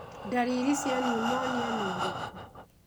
Ndariri cia pneumonia nĩ irĩku?